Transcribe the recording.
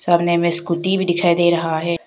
सामने में स्कूटी भी दिखाई दे रहा है।